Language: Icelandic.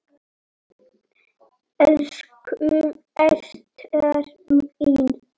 Elsku Ester mín.